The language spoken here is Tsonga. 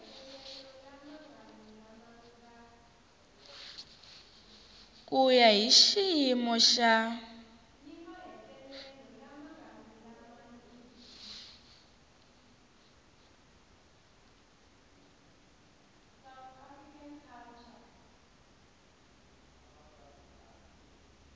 ku ya hi xiyimo xa